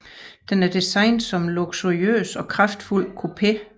Den er designet som en luksuriøs og kraftfuld coupé